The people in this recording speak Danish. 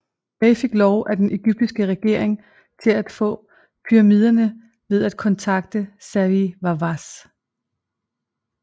Bay fik lov af den Egyptiske regering til at på pyramiderne ved at kontakte Zahi Hawass